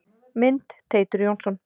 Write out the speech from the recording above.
Mynd: Teitur Jónsson.